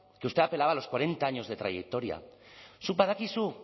que usted apelaba a los cuarenta años de trayectoria zuk badakizu